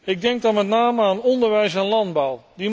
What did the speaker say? Ik denk dan met name aan onderwijs en landbouw.